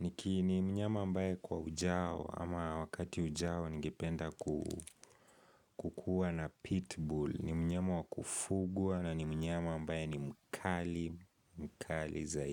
niki ni mnyama ambaye kwa ujao ama wakati ujao ningependa kukua na pitbull. Ni mnyama wakufugwa na ni mnyama ambaye ni mkali mkali za i.